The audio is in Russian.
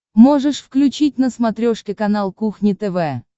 можешь включить на смотрешке канал кухня тв